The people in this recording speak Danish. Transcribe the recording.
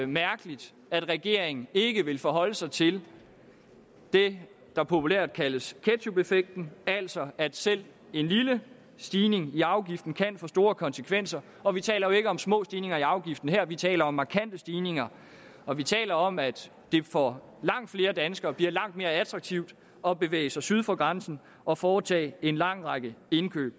mærkeligt at regeringen ikke vil forholde sig til det der populært kaldes ketchupeffekten altså at selv en lille stigning i afgiften kan få store konsekvenser og vi taler jo ikke om små stigninger i afgiften her vi taler om markante stigninger og vi taler om at det for langt flere danskere bliver langt mere attraktivt at bevæge sig syd for grænsen og foretage en lang række indkøb